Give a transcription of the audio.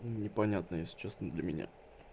непонятно если честно для меня